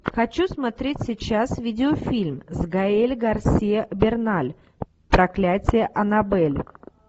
хочу смотреть сейчас видеофильм с гаэль гарсиа берналь проклятие анабель